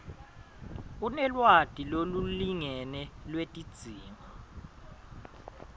unelwati lolulingene lwetidzingo